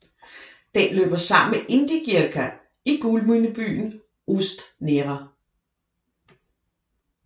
Den løber sammen med Indigirka i guldminebyen Ust Nera